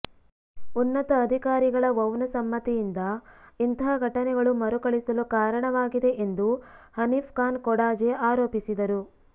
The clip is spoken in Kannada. ಉನ್ನತ ಅಧಿಕಾರಿಗಳ ವೌನ ಸಮ್ಮತಿಯಿಂದ ಇಂತಹ ಘಟನೆಗಳು ಮರುಕಳಿಸಲು ಕಾರಣವಾಗಿದೆ ಎಂದು ಹನೀಫ್ ಖಾನ್ ಕೊಡಾಜೆ ಆರೋಪಿಸಿದರು